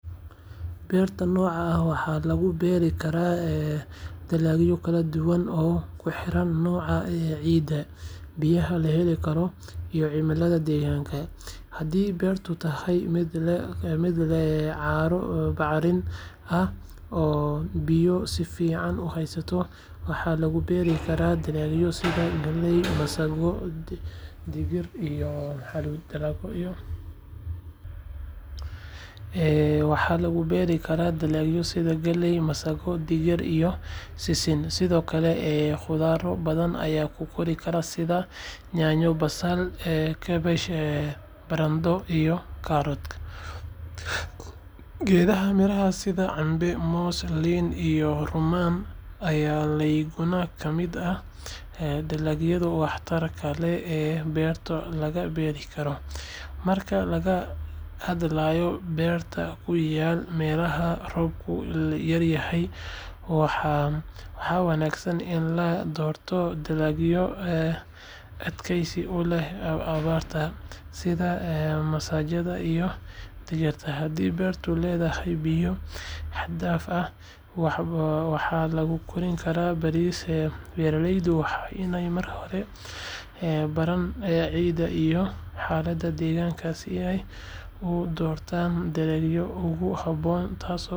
Beerta noocaan ah waxaa lagu beeri karaa dalagyo kala duwan oo ku xiran nooca ciidda, biyaha la heli karo, iyo cimilada deegaanka. Haddii beertu tahay mid leh carro bacrin ah oo biyo si fiican u haysta, waxaa lagu beeri karaa dalagyo sida galley, masaggo, digir, iyo sisin. Sidoo kale, khudrado badan ayaa ku kori kara sida yaanyo, basal, kaabash, barandhe, iyo karootada. Geedaha miraha sida cambe, moos, liin, iyo rummaan ayaa iyaguna ka mid ah dalagyada waxtarka leh ee beerta laga beeri karo. Marka laga hadlayo beero ku yaal meelaha roobku yaryahay, waxaa wanaagsan in la doorto dalagyo adkaysi u leh abaarta sida masagada iyo digirta. Haddii beertu leedahay biyo xad dhaaf ah, waxaa lagu kori karaa bariis. Beeralaydu waa inay marka hore baaraan ciidda iyo xaaladda deegaanka si ay u doortaan dalagyada ugu habboon, taas oo kor u qaadaysa wax-soosaarka beerta iyo dakhligooda. Waxaa sidoo kale muhiim ah in loo adeegsado farsamooyin casri ah si dalagyada loo ilaaliyo ugana badbaadaan cudurro iyo cayayaan waxyeello.